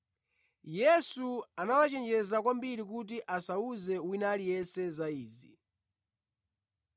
Yesu anawachenjeza kwambiri kuti asawuze wina aliyense za izi.